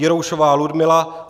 Jiroušová Ludmila